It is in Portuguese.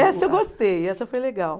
Essa eu gostei, essa foi legal.